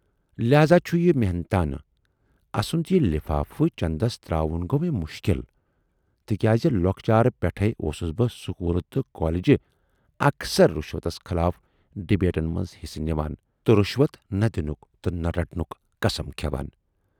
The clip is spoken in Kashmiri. لہذا چھُ یہِ محنتانہٕ۔ اَسُند یہِ لِفافہٕ چٮ۪ندس تراوُن گَو مے مُشکِل تِکیازِ لۅکچارٕ پٮ۪ٹھٕے اوسُس بہٕ سکوٗلہٕ تہٕ کالیجہِ اکثر رِشوتس خلاف ڈِبیٹن منز حِصہٕ نِوان تہٕ رِشوت نہٕ دِنُک تہٕ نہٕ رٹنُک قسَم کھٮ۪وان۔